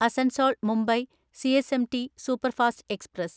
Asansol Mumbai CSMT superfast express